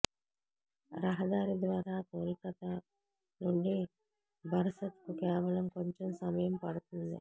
రహదారి ద్వారా కోల్కతా నుండి బరసత్ కు కేవలం కొంచెం సమయం పడుతుంది